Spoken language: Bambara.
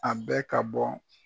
A bɛ ka bɔ